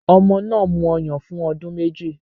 Ọmọ náà mu ọyàn fún ọdún méjì